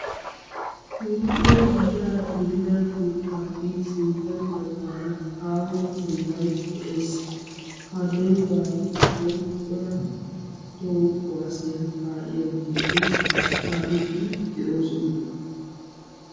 Keehippe gitaa gidida mittaappe sintta baggaara aaho dembbay de'ees. ha dembbaa giddon cora toho kuwaasiyaa kaa'iyaageti kaa'iidi de'oosona.